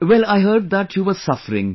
Well I heard that you were suffering